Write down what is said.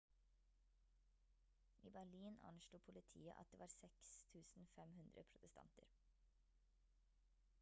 i berlin anslo politiet at det var 6 500 protestanter